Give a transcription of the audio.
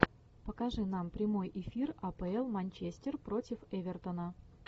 покажи нам прямой эфир апл манчестер против эвертона